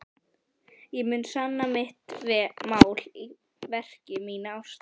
Ég mun sanna mitt mál í verki, mína ást.